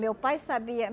Meu pai sabia.